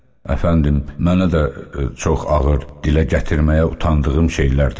Əfəndim, mənə də çox ağır, dilə gətirməyə utandığım şeylər dedi.